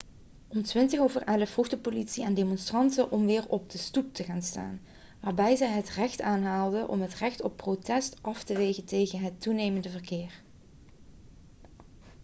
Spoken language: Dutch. om 11:20 vroeg de politie aan de demonstranten om weer op de stoep te gaan staan waarbij zij het recht aanhaalde om het recht op protest af te wegen tegen het toenemende verkeer